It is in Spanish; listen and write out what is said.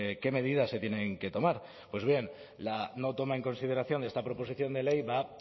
qué medidas se tienen que tomar pues bien la no toma en consideración de esta proposición de ley va